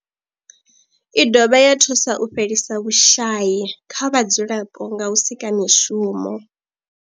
I dovha ya thusa u fhelisa vhushayi kha vhadzulapo nga u sika mishumo.